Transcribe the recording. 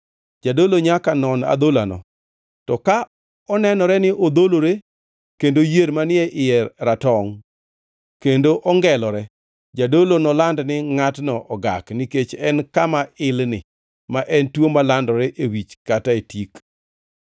jadolo nyaka non adholano, to ka onenore ni odholore kendo yier manie iye ratongʼ kendo ongelore, jadolo noland ni ngʼatno ogak; nikech en kama ilni, ma en tuo malandore e wich kata e tik.